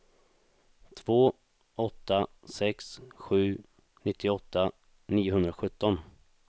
två åtta sex sju nittioåtta niohundrasjutton